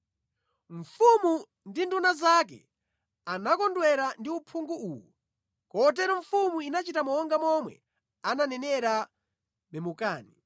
Mfumu ndi nduna zake anakondwera ndi uphungu uwu, kotero mfumu inachita monga momwe ananenera Memukani.